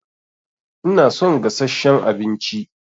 Ina son gasasshen abinci